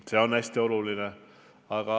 See on hästi oluline.